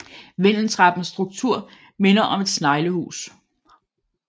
Vindeltrappens struktur minder om et sneglehus